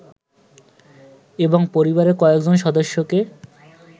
এবং পরিবারের কয়েজন সদস্যকে